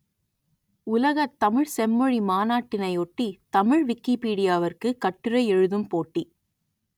உலகத் தமிழ் செம்மொழி மாநாட்டினை ஒட்டி தமிழ் விக்கிப்பீடியாவிற்கு கட்டுரை எழுதும் போட்டி